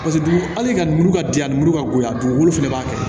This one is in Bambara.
Paseke dugu hali ka muru ka di yan a nimuru ka bon ye a dugukolo fana b'a kɛ